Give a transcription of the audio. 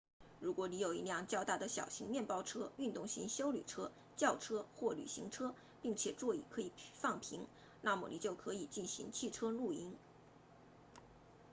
如果你有一辆较大的小型面包车运动型休旅车轿车或旅行车并且座椅可以放平那么你就可以进行汽车露营